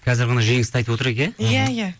қазір ғана жеңісті айтып отыр едік иә иә иә